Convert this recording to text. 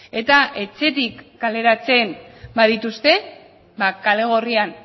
eta etxetik kaleratzen badituzte kale gorrian